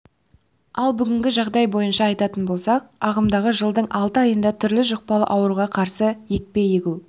ал бүгінгі жағдай бойынша айтатын болсақ ағымдағы жылдың алты айында түрлі жұқпалы ауруға қарсы екпе егу